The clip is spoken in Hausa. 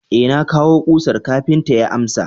eh na kawo kusar kafinta ya amsa